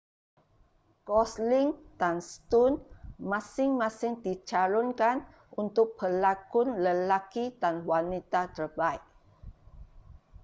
gosling dan stone masing-masing dicalonkan untuk pelakon lelaki dan wanita terbaik